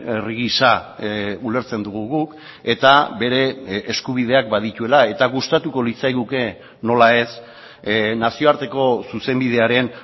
herri gisa ulertzen dugu guk eta bere eskubideak badituela eta gustatuko litzaiguke nola ez nazioarteko zuzenbidearen